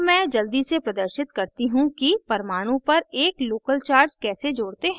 add मैं जल्दी से प्रदर्शित करती how कि परमाणु पर एक local charge कैसे जोड़ते हैं